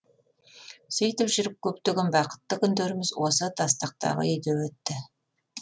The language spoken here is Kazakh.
сөйтіп жүріп көптеген бақытты күндеріміз осы тастақтағы үйде өтті